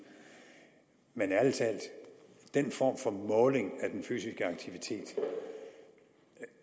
men ærlig talt den form for måling af den fysiske aktivitet